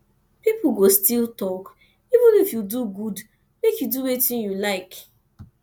pipo go still tok even if you do good make you do wetin you like